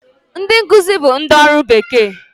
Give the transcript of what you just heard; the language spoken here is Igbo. Ndị nkuzi bụ ndị ọrụ bekee